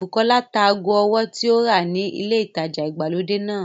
Bùkọ́lá ta ago ọwọ́ tí ó rà ni ilé ìtajà ìgbàlódé náà